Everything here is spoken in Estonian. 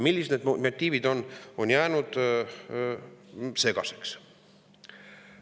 Millised need motiivid on, on jäänud segaseks.